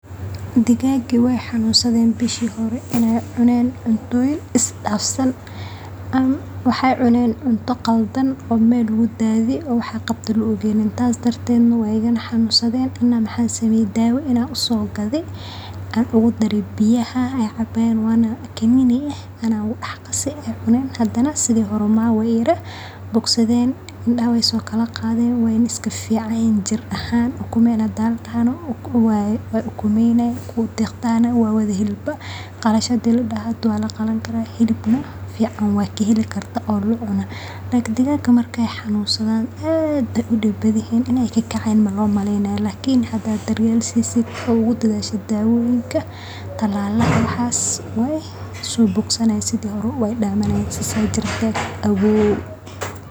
digaaggaygii way xanunsadeen bishii hore